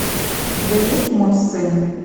у тебя есть мой сын